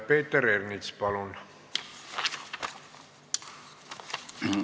Peeter Ernits, palun!